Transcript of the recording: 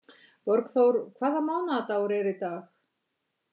Borgþór, hvaða mánaðardagur er í dag?